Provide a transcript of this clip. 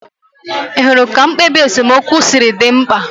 Ị hụrụ ka mkpebi esemokwu si dị mkpa?